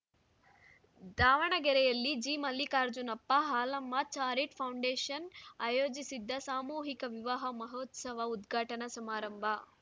ದಾವಣಗೆರೆಯಲ್ಲಿ G Mallikarjunappa Halamma charitable foundation ಆಯೋಜಿಸಿದ್ದ ಸಾಮೂಹಿಕ ವಿವಾಹ ಮಹೋತ್ಸವ ಉದ್ಘಾಟನಾ ಸಮಾರಂಭ